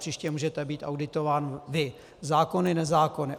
Příště můžete být auditován vy, zákony nezákony.